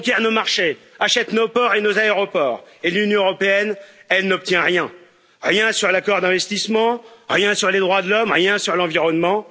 Elle conquiert nos marchés et achète nos ports et nos aéroports. L'Union européenne, elle, n'obtient rien rien sur l'accord d'investissement, rien sur les droits de l'homme, rien sur l'environnement.